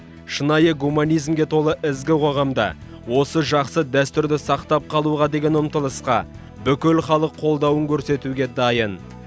шынайы гуманизмге толы ізгі қоғамда осы жақсы дәстүрді сақтап қалуға деген ұмтылысқа бүкіл халық қолдауын көрсетуге дайын